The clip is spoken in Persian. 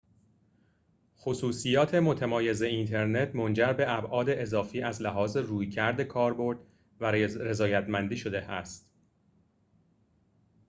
خصوصیات متمایز اینترنت منجر به ابعاد اضافی از لحاظ رویکرد کاربرد و رضایت‌مندی شده است